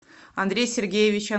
андрей сергеевич